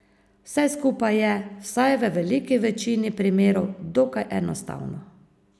Vse skupaj je, vsaj v veliki večini primerov, dokaj enostavno.